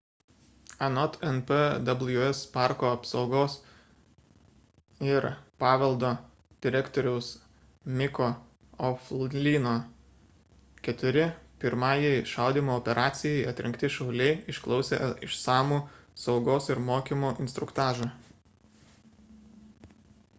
anot npws parko apsaugos ir paveldo direktoriaus micko o'flynno keturi pirmajai šaudymo operacijai atrinkti šauliai išklausė išsamų saugos ir mokymo instruktažą